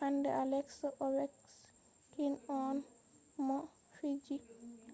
hande aleks ovechkin on mo fiji